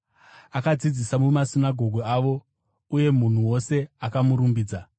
Akadzidzisa mumasinagoge avo, uye munhu wose akamurumbidza.